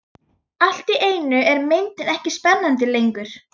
Allt í einu er myndin ekki spennandi lengur.